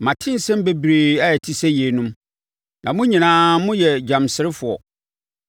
“Mate nsɛm bebree a ɛte sɛ yeinom; na mo nyinaa moyɛ gyamserefoɔ!